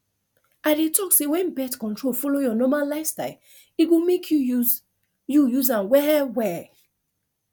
i dey talk say when birth control follow your normal lifestyle e go make you use you use am well well